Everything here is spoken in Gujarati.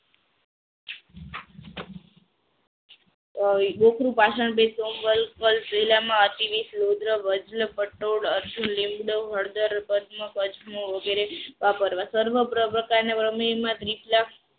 તો રુદ્ર લીમડો હળદર અજમો વગેરે વાપરવા સર્વ સપ્રકારણ